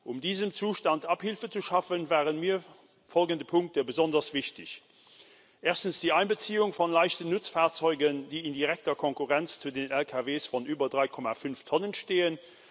Um diesem Zustand Abhilfe zu schaffen, waren mir folgende Punkte besonders wichtig Erstens die Einbeziehung von leichten Nutzfahrzeugen, die in direkter Konkurrenz zu den Lkw von über 3,5 Tonnen stehen.